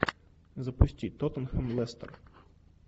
запусти тоттенхэм лестер